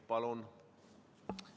Palun!